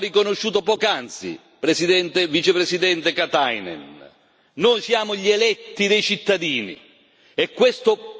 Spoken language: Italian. Noi siamo gli eletti dei cittadini, e questo piano viene da una nostra intuizione e da una nostra richiesta.